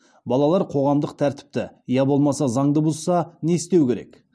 балалар қоғамдық тәртіпті я болмаса заңды бұзса не істеу керек